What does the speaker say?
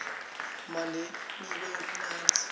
inyama lenekiwe imnandzi